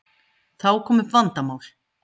Þá kom upp vandamál.